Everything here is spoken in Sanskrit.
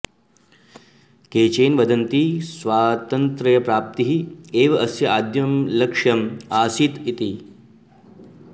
केचन वदन्ति स्वातन्त्र्यप्राप्तिः एव अस्य आद्यं लक्ष्यम् आसीत् इति